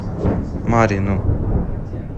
марьину